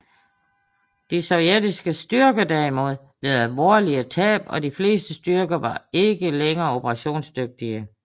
De sovjetiske styrker derimod led alvorlige tab og de fleste styrker var ikke længere operationsdygtige